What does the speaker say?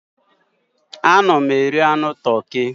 Ana m eri anụ toki.